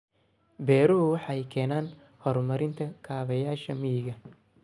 Beeruhu waxay keenaan horumarinta kaabayaasha miyiga.